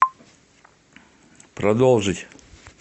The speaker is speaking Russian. продолжить